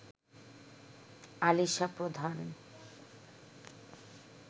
আলিশা প্রধান